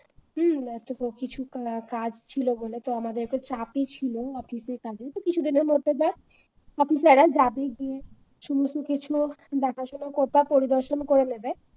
হম কিছু কাজ ছিল বলে আমাদের একটু চাপ ই ছিল office র কাজে তো কিছুদিন মধ্যে দেখ officer রা যাবে গিয়ে কিছু না কিছু দেখাশোনা বা পরিদর্শন করে নেবে